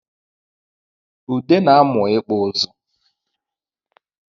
Ude na-amụ ịkpụ ịzụ